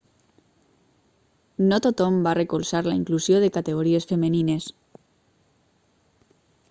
no tothom va recolzar la inclusió de categories femenines